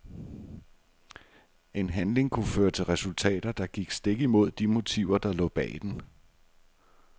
En handling kunne føre til resultater, der gik stik imod de motiver der lå bag den.